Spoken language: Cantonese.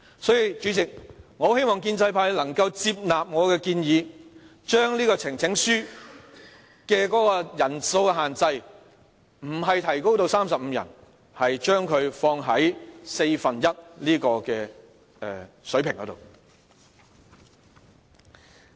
所以，主席，我很希望建制派能夠接納我的建議，將呈請書的人數限制，不是提高至35人，而是放在四分之一的水平上。